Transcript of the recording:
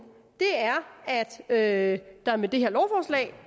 er at der med det her lovforslag